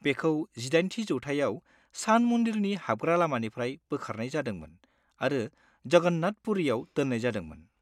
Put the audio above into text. बेखौ जिदाइनथि जौथाइयाव सान मन्दिरनि हाबग्रा लामानिफ्राय बोखारनाय जादोंमोन आरो जगन्नाथ पुरिआव दोननाय जादोंमोन।